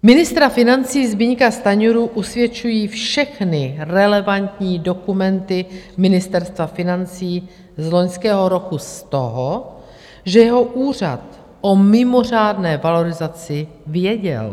Ministra financí Zbyňka Stanjuru usvědčují všechny relevantní dokumenty Ministerstva financí z loňského roku z toho, že jeho úřad o mimořádné valorizaci věděl.